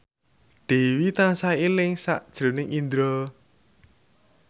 Dewi tansah eling sakjroning Indro